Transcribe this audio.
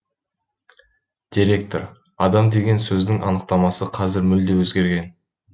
директор адам деген сөздің анықтамасы қазір мүлде өзгерген